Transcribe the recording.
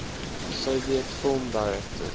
soviet film directors